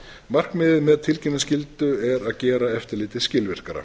markmiðið með tilkynningarskyldu er að gera eftirlitið skilvirkara